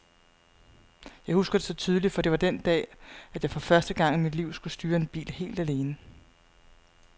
Jeg husker det så tydeligt, for det var den dag, at jeg for første gang i mit liv skulle styre en bil helt alene.